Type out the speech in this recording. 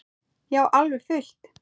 Já, alveg fullt.